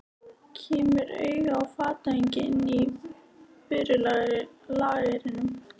Kemur auga á fatahengi inn af vörulagernum.